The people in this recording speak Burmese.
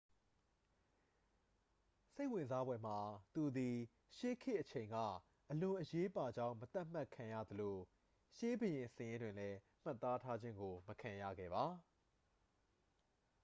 စိတ်ဝင်စားဖွယ်မှာ သူသည် ရှေးခေတ်အချိန်က အလွန်အရေးပါကြောင်း မသတ်မှတ်ခံရသလို ရှေးဘုရင်စာရင်းတွင်လဲ မှတ်သားထားခြင်းကို မခံရခဲ့ပါ